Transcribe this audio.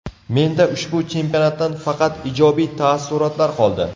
Menda ushbu chempionatdan faqat ijobiy taassurotlar qoldi”.